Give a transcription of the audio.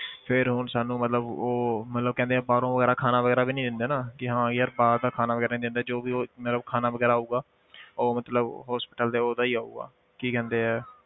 ਫਿਰ ਹੁਣ ਸਾਨੂੰ ਮਤਲਬ ਉਹ ਮਤਲਬ ਕਹਿੰਦੇ ਆ ਬਾਹਰੋਂ ਵਗ਼ੈਰਾ ਖਾਣਾ ਵਗ਼ੈਰਾ ਵੀ ਨੀ ਦਿੰਦੇ ਨਾ ਕਿ ਹਾਂ ਕਿ ਯਾਰ ਬਾਹਰ ਦਾ ਖਾਣਾ ਵਗ਼ੈਰਾ ਨੀ ਦਿੰਦੇ ਜੋ ਵੀ ਉਹ ਮਤਲਬ ਖਾਣਾ ਵਗ਼ੈਰਾ ਆਊਗਾ ਉਹ ਮਤਲਬ hospital ਦੇ ਉਹਦਾ ਹੀ ਆਊਗਾ ਕੀ ਕਹਿੰਦੇ ਹੈ।